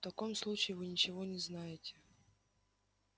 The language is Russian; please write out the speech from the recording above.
в таком случае вы ничего не знаете